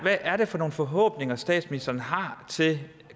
er for nogle forhåbninger statsministeren har til